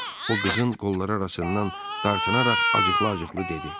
O qızın qolları arasından dartınaraq acıqlı-acıqlı dedi: